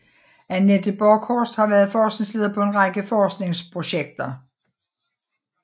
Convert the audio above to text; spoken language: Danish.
Anette Borchorst har været forskningsleder på en række forskningsprojekter